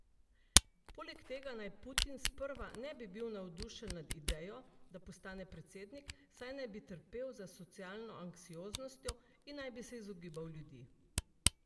Poleg tega naj Putin sprva ne bi bil navdušen nad idejo, da postane predsednik, saj naj bi trpel za socialno anksioznostjo in naj bi se izogibal ljudi.